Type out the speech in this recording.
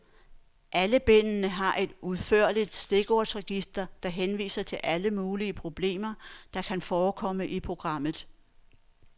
Alle bindene har et udførligt stikordsregister, der henviser til alle mulige problemer, der kan forekomme i programmet.